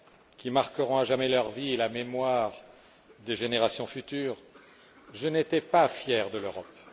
qui marqueront à jamais leur vie et la mémoire des générations futures, je n'étais pas fier de l'Europe.